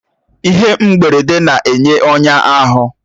Ihe mgberede na-enye ọnya ahụ